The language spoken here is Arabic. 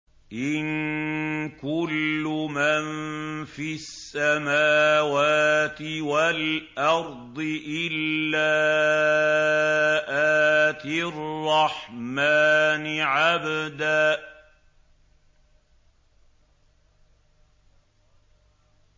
إِن كُلُّ مَن فِي السَّمَاوَاتِ وَالْأَرْضِ إِلَّا آتِي الرَّحْمَٰنِ عَبْدًا